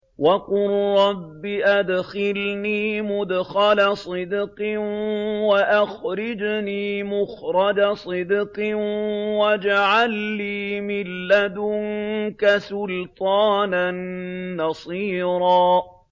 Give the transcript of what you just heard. وَقُل رَّبِّ أَدْخِلْنِي مُدْخَلَ صِدْقٍ وَأَخْرِجْنِي مُخْرَجَ صِدْقٍ وَاجْعَل لِّي مِن لَّدُنكَ سُلْطَانًا نَّصِيرًا